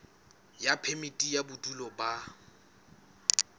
ya phemiti ya bodulo ba